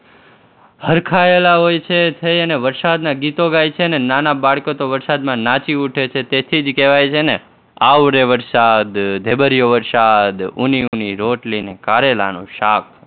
હરખાયેલાં હોય છે અને વરસાદના ગીતો ગાય છે અને નાના બાળકો તો વરસાદમાં નાચી ઉઠે છે, તેથી જ કહેવાય છે ને આવ રે વરસાદ, ઢેબરિયો વરસાદ, ઉની ઉની રોટલી ને કારેલાનું શાક